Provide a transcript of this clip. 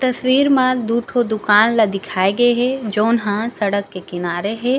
तस्वीर म दु ठो दुकान ल दिखाए गे हे जेहा सड़क के किनारे हे।